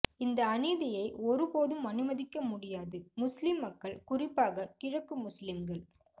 இந்த அநீதியை ஒரு போதும் அனுமதிக்க முடியாது முஸ்லிம் மக்கள் குறிப்பாக கிழக்கு முஸ்லிம்கள்